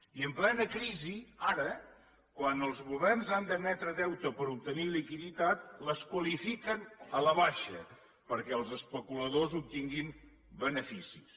i en plena crisi ara quan els governs han d’emetre deute per obtenir liquiditat les qualifiquen a la baixa perquè els especuladors obtinguin beneficis